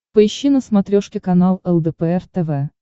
поищи на смотрешке канал лдпр тв